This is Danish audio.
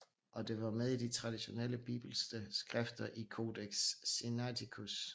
Og det var med i de traditionelle bibelske skrifter i Codex Sinaiticus